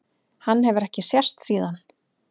Hann hefur ekki sést síðan.